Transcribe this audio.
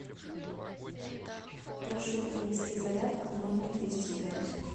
прошу принести зарядку в номер двести пять